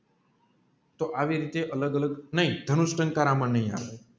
તો આવી રીતે અલગ અલગ નહિ દાનુષ ટંકાર આમ નહીં આલે